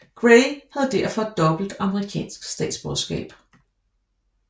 Grey har derfor dobbelt amerikansk statsborgerskab